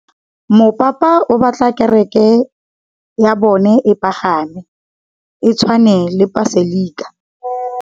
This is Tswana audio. Mopapa o batla kereke ya bone e pagame, e tshwane le paselika.